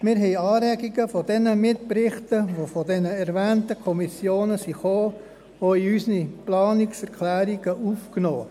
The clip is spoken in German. Wir haben Anregungen aus den Mitberichten der erwähnten Kommissionen in unsere Planungserklärungen aufgenommen.